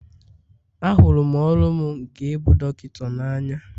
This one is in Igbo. Ahụrụ m ọrụ m nke ịbụ dọkịta n'anya